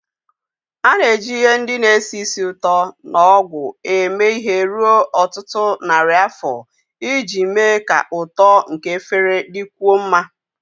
A na-eji ihe ndị na-esi ísì ụtọ na ogwu eme ihe ruo ọtụtụ narị afọ iji mee ka ụtọ nke efere dịkwuo mma